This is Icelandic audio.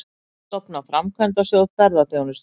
Stofna Framkvæmdasjóð ferðaþjónustunnar